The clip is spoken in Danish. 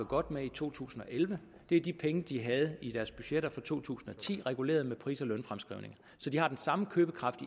godt med i to tusind og elleve er de penge de havde i deres budgetter for to tusind og ti reguleret med pris og lønfremskrivninger så de har den samme købekraft